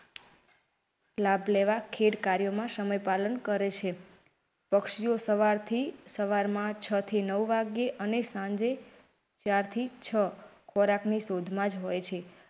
લાભ લેવા ખેડ કાર્યોમાં સમય પાલન કરેં છે પક્ષીઓ સવારથી સવારમાં છ થી નવ વાગ્યે અને સાંજે ચાર થી છ ખોરાકની શોધમાં જ હોય છે.